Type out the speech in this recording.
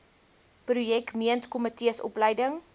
projek meentkomitees opleiding